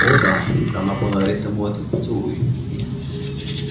о да она подарит ему этот поцелуй